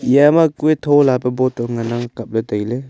eya ma kue thola pe bottle ngan ang kap ley tai ley.